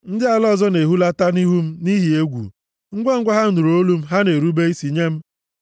Ndị ala ọzọ na-ehulata nʼihu m nʼihi egwu, ngwangwa ha nụrụ olu m, ha na-erube isi nye m.